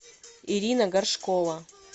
ирина горшкова